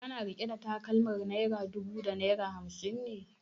Kana riƙe da takalmar naira dubu da naira hamsin ne?